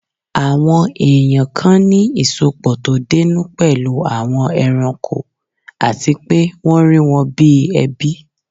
Àwọn èèyàn kan ní ìsọpọ̀ tó dénú pẹ̀lú àwọn ẹranko àti pé wọ́n rí wọn bíi ẹbí